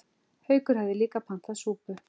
Haukur hafði líka pantað súpu.